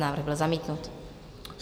Návrh byl zamítnut.